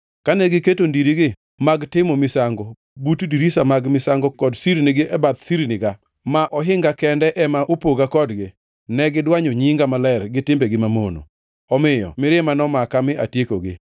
Kane giketo ndirigi mag timo misango but ndiriga mag misango kod sirnigi e bath sirniga, ma ohinga kende ema opoga kodgi, ne gidwanyo nyinga maler gi timbegi mamono. Omiyo mirima nomaka mi atiekogi.